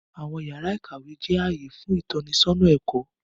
Awọn yàrà ìkàwé jẹ ààyè fún itọnisọna ẹkọ.